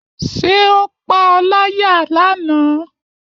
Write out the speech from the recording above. Ṣé o paá láyà if lánàá?